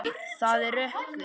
Það er rökkur.